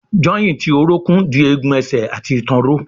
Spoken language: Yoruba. Jọ́ìntì orókún dì egun ẹsẹ̀ àti ìtàn ró.